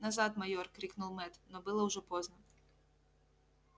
назад майор крикнул мэтт но было уже поздно